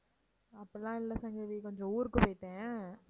அப்படியெல்லாம் இல்ல சங்கவி கொஞ்சம் ஊருக்கு போயிட்டேன்